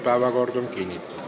Päevakord on kinnitatud.